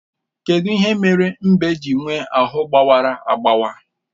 Kedụ ihe kpatara mbe ji nwee ahụ gbawara agbawa?